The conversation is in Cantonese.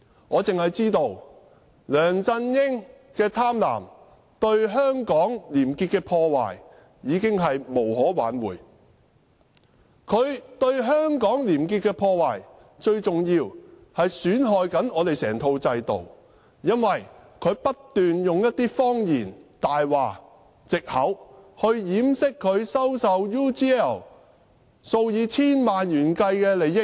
我只知道梁振英的貪婪，對香港廉潔的破壞已經無可挽回；他對香港廉潔的破壞，最重要的是損害整套制度，因為他不斷用謊言和藉口來掩飾他收受 UGL 數以千萬元的利益。